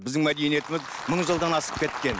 біздің мәдениетіміз мың жылдан асып кеткен